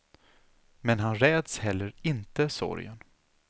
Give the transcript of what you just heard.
Men han räds heller inte sorgen.